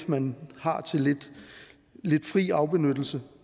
man har til lidt fri afbenyttelse